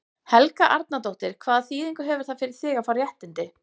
Helga Arnardóttir: Hvaða þýðingu hefur það fyrir þig að fá réttindi?